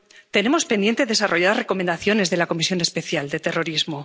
Tenemos pendiente desarrollar recomendaciones de la Comisión Especial sobre Terrorismo.